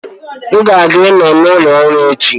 M ga-anọ n' ụlọ ọrụ echi